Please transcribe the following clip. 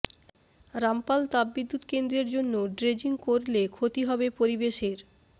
রামপাল তাপবিদ্যুৎ কেন্দ্রের জন্য ড্রেজিং করলে ক্ষতি হবে পরিবেশের